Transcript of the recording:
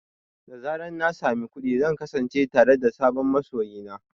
Da zarar na sami kuɗi, zan kasance tare da sabon masoyi na.